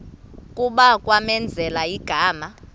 kuba kwamenzela igama